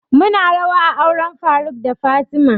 Mu na rawa a auren faruk da fatima